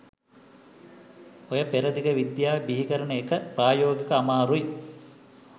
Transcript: ඔය පෙරදිග විද්‍යාව බිහිකරන එක ප්‍රායෝගිකව අමාරුයි